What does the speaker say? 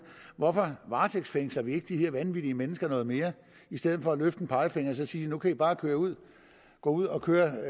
hvorfor varetægtsfængsler vi ikke de her vanvittige mennesker noget mere i stedet for at løfte en pegefinger og så sige at nu kan i bare gå ud ud og køre